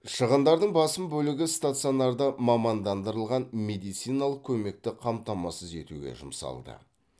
шығындардың басым бөлігі стационарда мамандандырылған медициналық көмекті қамтамасыз етуге жұмсалды